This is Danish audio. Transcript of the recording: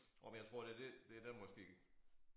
Nåh men jeg tror det det det der måske